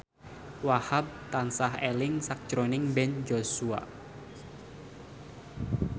Wahhab tansah eling sakjroning Ben Joshua